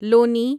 لونی